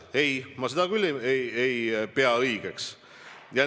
Ei, ma seda küll ei pea õigeks.